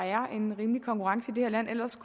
er en rimelig konkurrence i det her land ellers